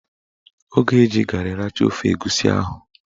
Ọ ga-eji garị richaa ofe egusi ahụ